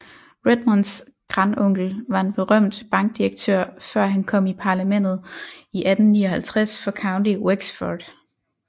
Redmonds grandonkel var en berømt bankdirektør før han kom i parlamentet i 1859 for County Wexford